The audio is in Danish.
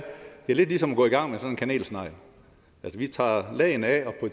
det er ligesom at gå i gang med en kanelsnegl hvor vi tager lagene af og